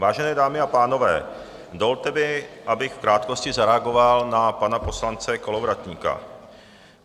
Vážené dámy a pánové, dovolte mi, abych v krátkosti zareagoval na pana poslance Kolovratníka.